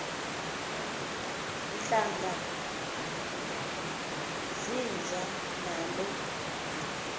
ntlanga zinjani na